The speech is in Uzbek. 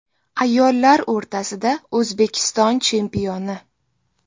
Ayollar o‘rtasida O‘zbekiston chempioni.